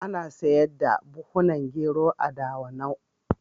Ana sayar da buhhunan gero a Dawanau.